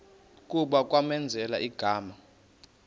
kuba kwamenzela igama